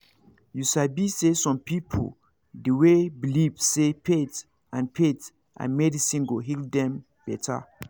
you sabi say some people dey way believe say faith and faith and medicine go heal dem better